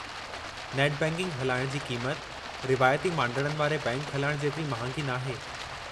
Net banking हलाइणु जी क़ीमत रिवायती मांडाणनि वारे बैंकि हलाइण जेतिरी महांगी नाहे।